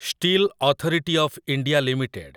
steel authority of India limited